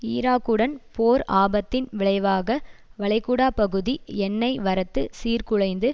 ஈராக்குடன் போர் ஆபத்தின் விளைவாக வளைகுடா பகுதி எண்ணெய் வரத்து சீர்குலைந்து